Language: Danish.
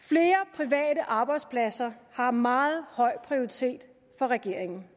at arbejdspladser har meget høj prioritet for regeringen